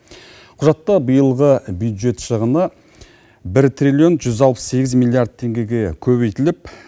құжатта биылғы бюджет шығыны бір триллион жүз алпыс сегіз миллиард теңгеге көбейтіліп